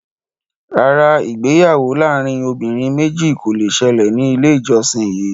Rárá, ìgbéyàwó láàrin obìnrin méjì kò le ṣẹlẹ̀ ní ilé ìjósìn yìí